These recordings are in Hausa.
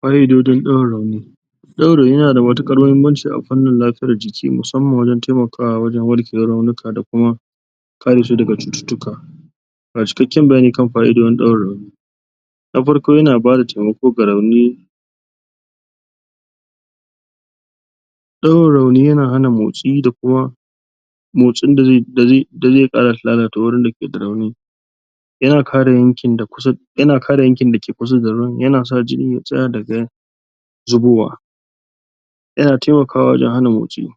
Ƙa'idojin ɗaure rauni ɗaure rauni yana da matuƙar muhimmanci a fannin lafiya a fannin lafiyar jiki musamman wajen taimakawa wajen warkewar raunuka da kuma kare shi daga cututtuka ga cikakken bayani kan fa'idojin daure rauni: na farko yana bada taimako ga rauni ɗaure rauni yana hana motsi da kuma motsin da zai ƙara lalata wajen da yake da rauni yana kare yanki dake kusa da rauni, yana sa jini ya tsaya daga zubowa yana taimakawa wajen hana motsi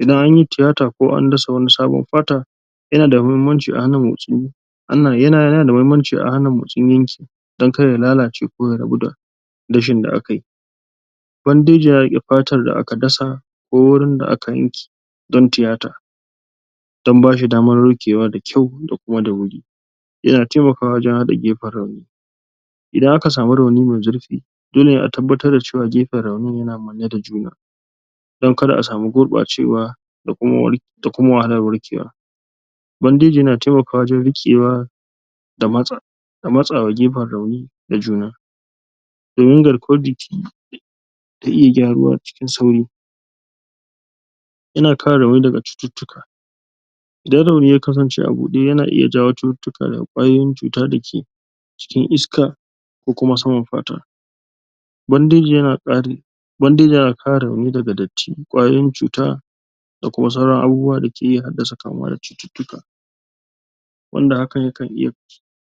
idan an yi tiyata ko andasa wani sabon fata yana da muhimmanci a hana motsi wannan yana da muhimmanci a hana motsin yanki don kar ya lalace ko ya rabu da dashin da aka yi bandeji yana riƙe fatar da aka dasa ko wurin da aka yanke don tiyata. Don ba shi damar warkewa da kyau da kuma da wuri, yana taimakawa wajen haɗe gefen rauni. Idan aka samu rauni mai zurfi, dole ne a tabbar da cewa gefen raunin yana manne da juna. Don kar a samu guɓacewa da kuma wahalar warkewa bandeji yana taimakawa wajen riƙewa da matsawa gefen rauni da juna. Domin garkuwar jiki ta iya gyaruwa cikin sauri yana kare rauni daga cututtuka idan rauni ya kasance a guda yana iya jawo cututtuka da ƙwayoyin cuta dake cikin iska ko kuma saman fata. Bandeji yana ƙara? bandeji yana kare rauni daga datti da ƙwayoyin cuta da kuma sauran abubuwa dake iya haddasa kamuwa da cututtuka wanda hakan yakan iya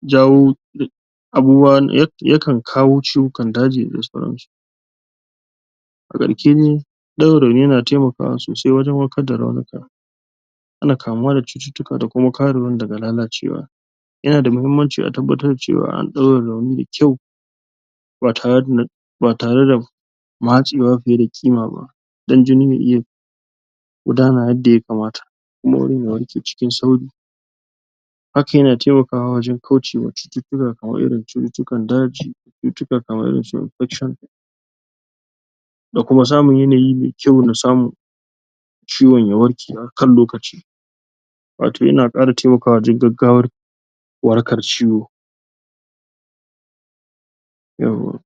jawo em abubuwa wanda yakan kawo ciwukan daji da sauransu a ƙarshe dai ɗaure rauni yana taimakawa sosai wajen warkar da raunuka. Hana kamuwa daga cututtuka da kuma kare wani daga lalacewa yana da muhimmanci a tabbatar da cewa an ɗaure rauni da kyau ba tare da ba tare da matsewa fiye da ƙima ba. Don jini iya gudana yadda ya kamata kuma wurin ya warke cikin sauri hakan yana taimakawa wajen kaucewa cututtuka kamar irin cututtukan daji cututtuka kamar irin su infection da kuma samun yanayi mai kyau na samu ciwon ya warke akan lokaci. Wato yana ƙara taimakwa wajen gaggawar warakar ciwo. Yauwa!